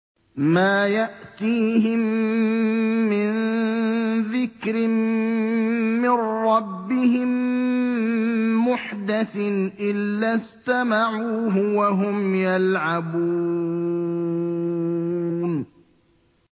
مَا يَأْتِيهِم مِّن ذِكْرٍ مِّن رَّبِّهِم مُّحْدَثٍ إِلَّا اسْتَمَعُوهُ وَهُمْ يَلْعَبُونَ